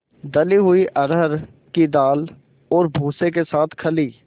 दली हुई अरहर की दाल और भूसे के साथ खली